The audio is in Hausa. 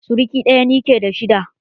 Suruki ɗaya ni ke da shi da.